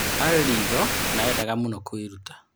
" Arĩ ritho na endaga mũno kũĩruta.